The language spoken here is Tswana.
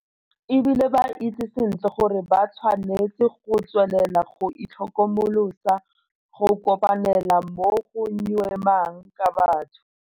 E bile ba itse sentle gore ba tshwanetse go tswelela go itlhokomolosa go kopanela mo go nyeumang ka batho.